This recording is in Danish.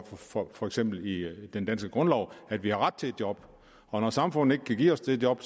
for for eksempel i den danske grundlov at vi har ret til et job og når samfundet ikke kan give os det job